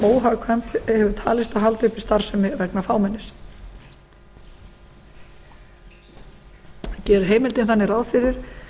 óhagkvæmt hefur talist að halda uppi starfsemi vegna fámennis gerir heimildin þannig ráð fyrir